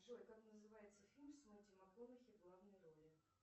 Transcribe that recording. джой как называется фильм с метью макконахи в главной роли